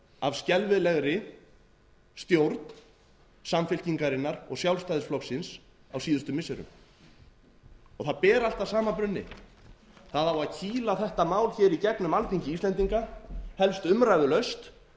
af skelfilegri stjórn samfylkingarinnar og sjálfstæðisflokksins á síðustu missirum það ber allt að sama brunni það á að kýla þetta mál hér í gegnum alþingi íslendinga helst umræðulaust